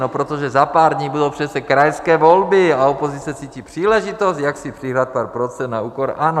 No, protože za pár dní budou přece krajské volby a opozice cítí příležitost, jak si přihrát pár procent na úkor ANO.